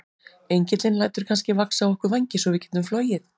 Engillinn lætur kannski vaxa á okkur vængi svo við getum flogið?